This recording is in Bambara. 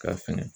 K'a fili